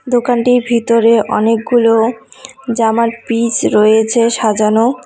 দোকানটির ভিতরে অনেকগুলো জামার পিস রয়েছে সাজানো।